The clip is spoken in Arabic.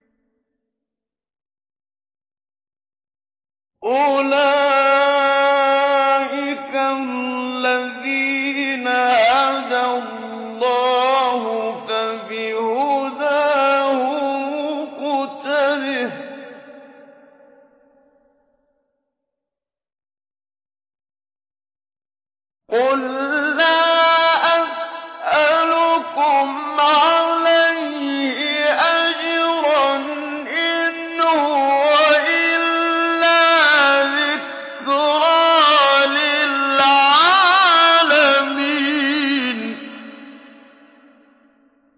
أُولَٰئِكَ الَّذِينَ هَدَى اللَّهُ ۖ فَبِهُدَاهُمُ اقْتَدِهْ ۗ قُل لَّا أَسْأَلُكُمْ عَلَيْهِ أَجْرًا ۖ إِنْ هُوَ إِلَّا ذِكْرَىٰ لِلْعَالَمِينَ